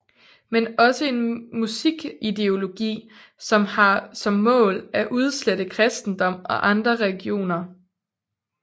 Men også en musik ideologi som har som mål at udslette kristendom og andre religioner